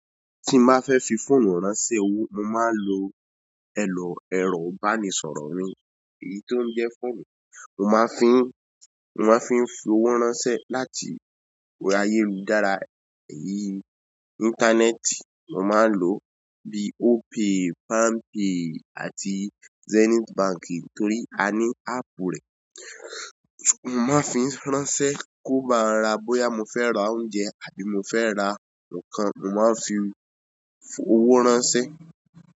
Tí má fẹ́ fi fóònù ránṣẹ́ owó, mo máa ń lo èlò ẹ̀rọ ìbánisọ̀rọ̀ mi, èyí tó ń jẹ́ fóònù. Mo man fi, mo man fi owó ránṣẹ́ láti ayerudara intaneti. Mo máa ń lọ bí Opay, Palmpay àti Zenith Bank torí a ní áàpù rẹ̀. Mo man fi ránṣẹ́ bóyá mofe ra oúnjẹ, àbí mofe ra ǹkan, mo man fi owó ránṣẹ́.